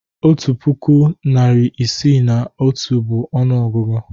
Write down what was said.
Otu puku, narị isii na otu bụ ọnụọgụgụ.